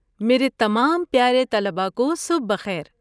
میرے تمام پیارے طلباء کو صبح بخیر۔